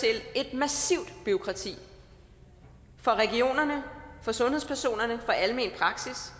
massivt bureaukrati for regionerne for sundhedspersonerne for almen praksis